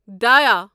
دایا